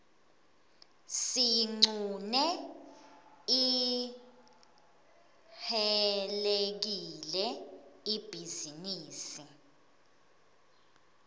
siyiqune ihcelekile ibhizinisi